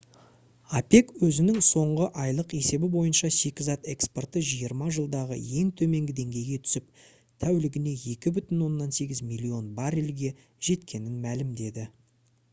опек өзінің соңғы айлық есебі бойынша шикізат экспорты жиырма жылдағы ең төменгі деңгейге түсіп тәулігіне 2,8 миллион баррельге жеткенін мәлімдеді